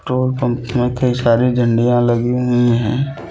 Petrol pump में कई सारी झंडियां लगी हुई है।